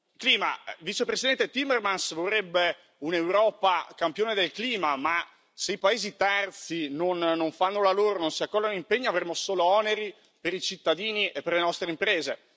Clima il vicepresidente Timmermans vorrebbe un'Europa campione del clima, ma se i paesi terzi non fanno la loro, non si accollano impegni avremo solo oneri per i cittadini e per le nostre imprese.